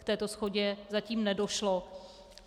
K této shodě zatím nedošlo.